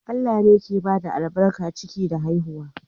Allah ne ke bada albarkar ciki da haihuwa.